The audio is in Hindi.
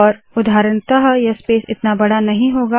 उदाहरणतः यह स्पेस इतना बड़ा नहीं होगा